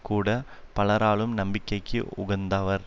கூட பலராலும் நம்பிக்கைக்கு உகந்தவர்